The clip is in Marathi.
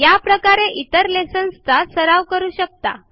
या प्रकारेइतर लेसन चा सराव करू शकता